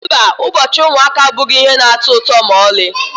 Mba, ụbọchị ụmụaka abụghị ihe na-atọ ụtọ ma ọlị.